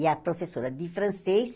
E a professora de francês